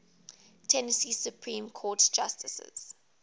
tennessee supreme court justices